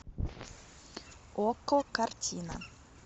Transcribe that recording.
окко картина